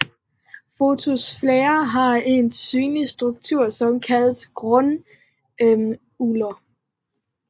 Fotosfæren har en synlig struktur som kaldes granuler